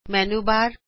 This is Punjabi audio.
ਮੈਨੂ ਬਾਰ